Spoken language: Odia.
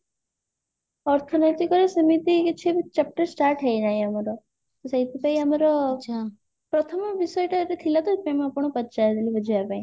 ଅର୍ଥନୈତିକରେ ସେମିତି କିଛି ବି chapter start ହେଇନାହିଁ ଆମର ତ ସେଇଥିପାଇଁ ଆମର ପ୍ରଥମ ବିଷୟଟା ଏଟା ଥିଲା ତ ସେଇଥିପାଇଁ ମୁଁ ଆପଣଙ୍କୁ ପଚାରିଦେଲି ବୁଝିବା ପାଇଁ